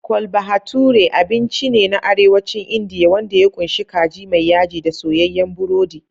Chole Bhature abinci ne na Arewacin Indiya wanda ya ƙunshi kaji mai yaji da soyayyen burodi.